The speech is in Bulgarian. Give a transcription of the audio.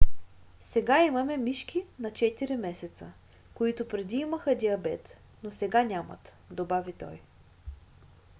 "сега имаме мишки на 4 месеца които преди имаха диабет но сега нямат добави той